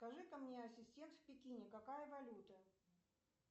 скажи ка мне ассистент в пекине какая валюта